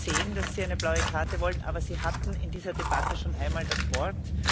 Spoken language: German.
Ich habe gesehen, dass Sie eine blaue Karte wollen. Aber Sie hatten in dieser Debatte schon einmal das Wort.